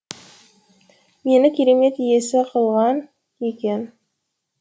мені керемет иесі қылсаң екен